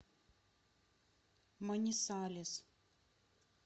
манисалес